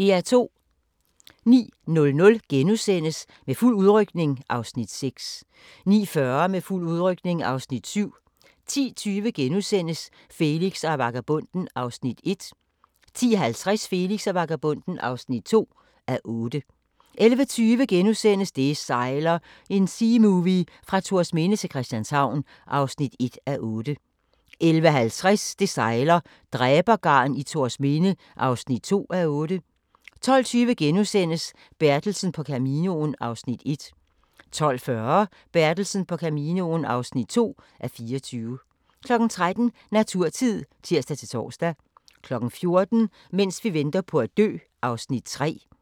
09:00: Med fuld udrykning (Afs. 6)* 09:40: Med fuld udrykning (Afs. 7) 10:20: Felix og vagabonden (1:8)* 10:50: Felix og vagabonden (2:8) 11:20: Det sejler – en seamovie fra Thorsminde til Christianshavn (1:8)* 11:50: Det sejler - dræbergarn i Thorsminde (2:8) 12:20: Bertelsen på Caminoen (1:24)* 12:40: Bertelsen på Caminoen (2:24) 13:00: Naturtid (tir-tor) 14:00: Mens vi venter på at dø (3:8)